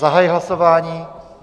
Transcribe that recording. Zahajuji hlasování.